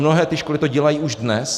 Mnohé ty školy to dělají už dnes.